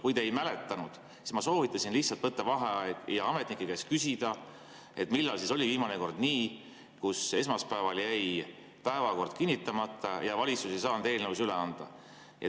Kui te ei mäleta, siis ütlen, et ma soovitasin lihtsalt võtta vaheaja ja ametnike käest küsida, millal oli viimane kord nii, et esmaspäeval jäi päevakord kinnitamata ja valitsus ei saanud eelnõusid üle anda.